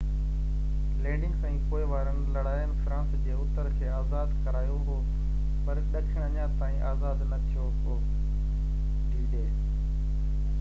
d-day landings ۽ پوءِ وارين لڙائين فرانس جي اتر کي آزاد ڪرايو هو پر ڏکڻ اڃا تائين آزاد نہ ٿيو هو